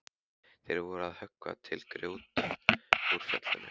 Þeir voru að höggva til grjót úr fjallinu.